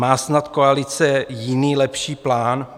Má snad koalice jiný, lepší plán?